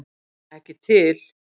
Ekki til!